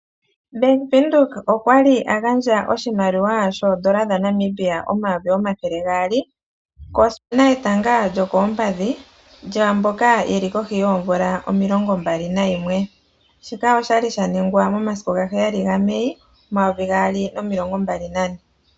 Bank widhoek okwali agandja oshimaliwa shoodola dha Namibia omayovi omathele gaali kuudhano wetanga lyokoompadhi lyaamboka yeli kohi yoomvula omilongombali nayimwe. Shika oshaningwa momasiku sho Gali ga heyali ga meei, omumvo omayovi gaali nomilongombali nane.